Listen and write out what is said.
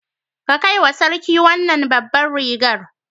Kai wa sarki wannan babbar rigar.